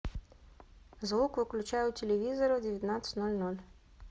звук выключай у телевизора в девятнадцать ноль ноль